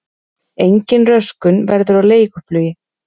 Engin röskun verður á leiguflugi